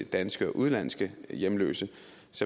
danske og udenlandske hjemløse